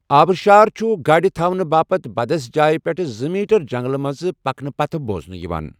آبشار چھٗ ، گاڈِ تھونٕہٕ باپتھ بدس جایہ پیٹھٕ زٕ میٹر جنگلہٕ مٕنزِ پكنہٕ پتہٕ بوزنہٕ یوان ۔